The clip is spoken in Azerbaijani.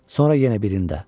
Sonra yenə birində.